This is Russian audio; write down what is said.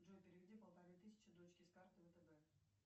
джой переведи полторы тысячи дочке с карты втб